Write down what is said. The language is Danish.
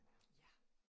Ja